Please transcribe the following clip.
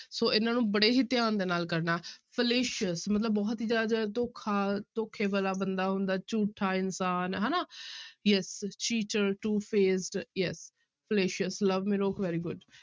ਸੋ ਇਹਨਾਂ ਨੂੰ ਬੜੇ ਹੀ ਧਿਆਨ ਦੇ ਨਾਲ ਕਰਨਾ fallacious ਮਤਲਬ ਬਹੁਤ ਹੀ ਜ਼ਿਆਦਾ ਜਿਹੜਾ ਧੋਖਾ ਧੋਖੇ ਵਾਲਾ ਬੰਦਾ ਹੁੰਦਾ ਹੈ ਝੂਠਾ ਇਨਸਾਨ ਹਨਾ yes cheater, two faced, yes fallacious very good